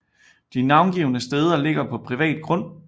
De navngivne steder ligger på privat grund